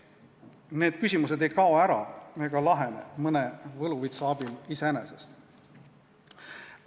Need küsimused ei kao ega lahene mõne võluvitsa abil iseenesest.